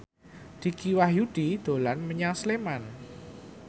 Dicky Wahyudi dolan menyang Sleman